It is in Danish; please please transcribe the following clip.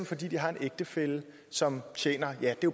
fordi de har en ægtefælle som tjener ja